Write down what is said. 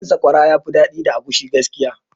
Tuwon sakwara yafi daɗi da agushi gaskiya